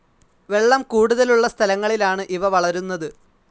വെളളം കൂടുതലുളള സ്ഥലങ്ങളിലാണ് ഇവ വളരുന്നത്.